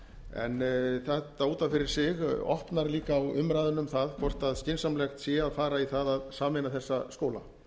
en þetta út af fyrir sig opnar líka á umræðuna um það hvort skynsamlegt sé að fara í það að sameina þessa skóla